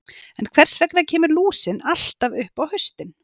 En hvers vegna kemur lúsin alltaf upp á haustin?